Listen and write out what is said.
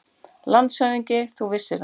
LANDSHÖFÐINGI: Ef þú vissir það.